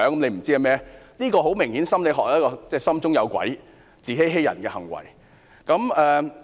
很明顯，這是心理學所指的心中有鬼、自欺欺人的行為。